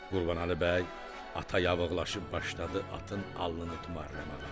Qurbanəli bəy ata yavıqlaşıb başladı atın alnını tumarlamağa.